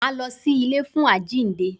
Máa lọ sí ilé fún àjínde.